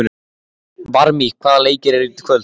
Varmi, hvaða leikir eru í kvöld?